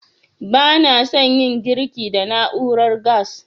Ba na san yin girki da na'urar gas